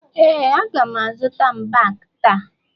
ee, a ga m azụta mbak taa